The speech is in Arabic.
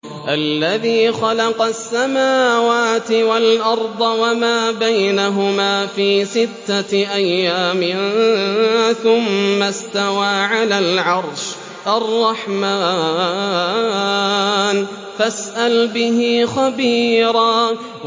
الَّذِي خَلَقَ السَّمَاوَاتِ وَالْأَرْضَ وَمَا بَيْنَهُمَا فِي سِتَّةِ أَيَّامٍ ثُمَّ اسْتَوَىٰ عَلَى الْعَرْشِ ۚ الرَّحْمَٰنُ فَاسْأَلْ بِهِ خَبِيرًا